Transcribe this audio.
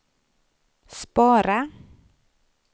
spara